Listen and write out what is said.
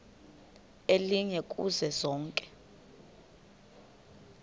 elinye kuzo zonke